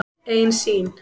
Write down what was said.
Ein sýn.